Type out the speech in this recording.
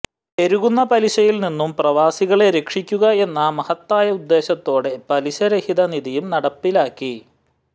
പെരുകുന്ന പലിശയിൽ നിന്നും പ്രവാസികളെ രക്ഷിക്കുക എന്ന മഹത്തായ ഉദ്ധേശത്തോടെ പലിശ രഹിത നിധിയും നടപ്പിലാക്കി